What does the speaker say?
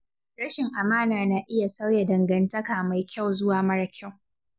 Rashin amana na iya sauya dangantaka mai kyau zuwa mara kyau.